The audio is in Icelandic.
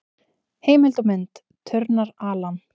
Heimild og mynd: Turnar, Alan.